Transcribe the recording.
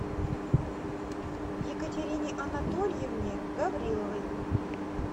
екатерине анатольевне гавриловой